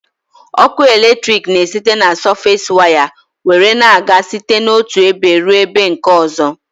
Ọkụ eletrik na esite na sọfes waya nwere na-aga site n'otụ ebe rụọ ebe nke ọzọ